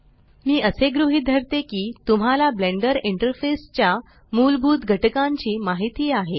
मी असे गृहीत धरते की तुम्हाला ब्लेंडर इंटरफेस च्या मूलभूत घटकांची माहिती आहे